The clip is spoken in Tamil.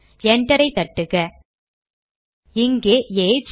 enter ஐ தட்டுக இங்கே ஏஜ்